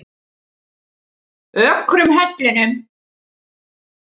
Ökrum Hellnum